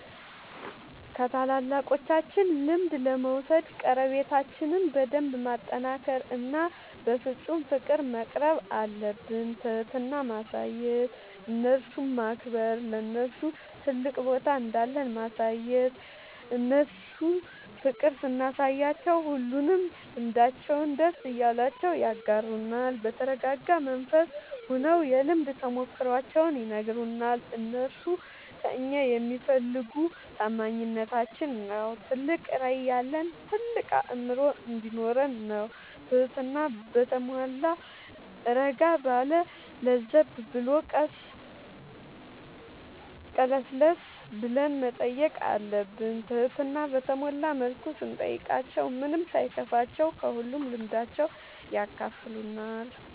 ከታላላቆቻችን ልምድ ለመውሰድ ቀረቤታችን በደንብ ማጠናከር እና በፍፁም ፍቅር መቅረብአለብን። ትህትና ማሳየት እነርሱን ማክበር ለነርሱ ትልቅ ቦታ እንዳለን ማሳየት እነርሱ ፍቅር ስናሳያቸው ሁሉንም ልምዳቸውን ደስ እያላቸው ያጋሩናል። በተረጋጋ መንፈስ ሆነው የልምድ ተሞክሯቸውን ይነግሩናል። እነርሱ ከእኛ የሚፈልጉ ታማኝነታችን ነው ትልቅ ራዕይ ያለን ታልቅ አእምሮ እንዲኖረን ነው ትህትና በተሟላ እረጋ ባለ ለዘብ ብሎ ቀለስለስ ብለን መጠየቅ አለብን ትህትና በተሞላ መልኩ ስንጠይቃቸው ምንም ሳይከፋቸው ከሁሉም ልምዳቸው ያካፍሉናል።